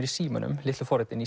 í símunum litlu forritin